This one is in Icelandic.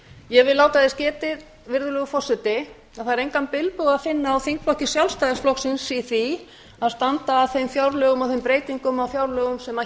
ég vil láta þess getið að það er engan bilbug að finna á þingflokki sjálfstæðisflokksins í því að standa að þeim fjárlögum og þeim breytingum á fjárlögum sem